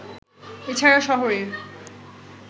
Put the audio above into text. এ ছাড়া শহরের